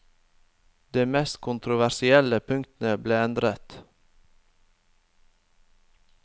De mest kontroversielle punktene ble endret.